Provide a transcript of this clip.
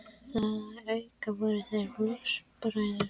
Þar að auki voru þeir flokksbræður.